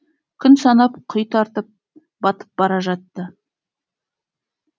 күн санап құй тартып батып бара жатты